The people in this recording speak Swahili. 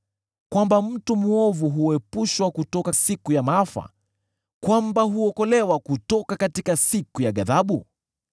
kwamba mtu mwovu huepushwa kutoka siku ya maafa, kwamba huokolewa kutoka siku ya ghadhabu?